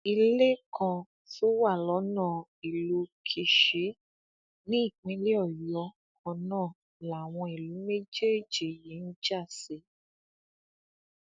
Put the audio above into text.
ilé kan tó wà lọnà ìlú kíṣì ní ìpínlẹ ọyọ kan náà làwọn ìlú méjèèjì yìí ń já sí